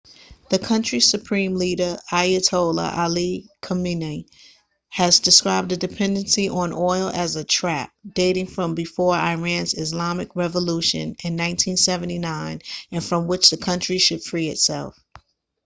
the country's supreme leader ayatollah ali khamenei has described the dependency on oil as a trap dating from before iran's islamic revolution in 1979 and from which the country should free itself